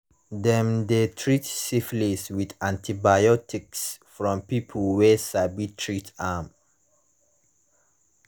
dem de treat syphilis with antibiotics from people wey sabi treat am